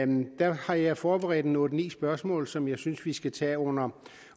mere der har jeg forberedt en otte ni spørgsmål som jeg synes vi skal tage under